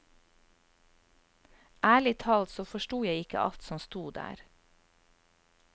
Ærlig talt så forstod jeg ikke alt som stod der.